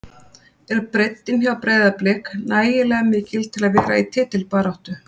Er breiddin hjá Breiðablik nægilega mikil til að vera í titilbaráttu?